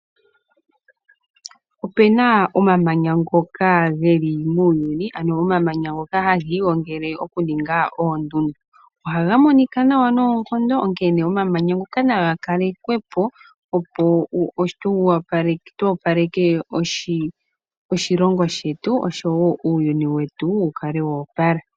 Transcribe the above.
Opena omamanya ngoka geli muuyuni, ano omamanya ngoka ha ga igongele oku ninga oondundu. Oha ga monika nawa noonkondo, onkene omamanya ngoka Naga kalekwe po opo tu opaleke oshilongo sget osho wo uuyuni wetu wu kale wo opala.